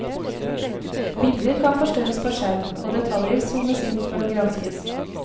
Bilder kan forstørres på skjerm, og detaljer zoomes inn for å granskes.